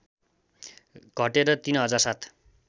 घटेर ३ हजार ७